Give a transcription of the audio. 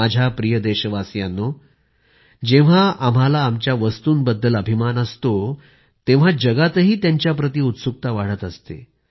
माझ्या प्रिय देशवासियांनो जेव्हा आम्हाला आमच्या वस्तुंबद्दल अभिमान असतो तेव्हा जगातही त्यांच्याप्रति उत्सुकता वाढत असते